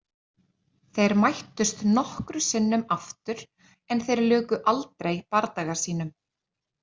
Þeir mættust nokkru sinnum aftur en þeir luku aldrei bardaga sínum.